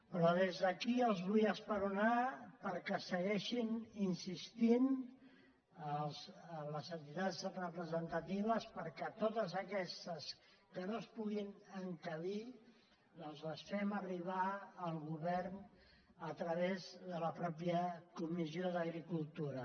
però des d’aquí els vull esperonar perquè segueixin in·sistint les entitats representatives perquè totes aques·tes que no s’hi puguin encabir doncs les fem arribar al govern a través de la mateixa comissió d’agricultura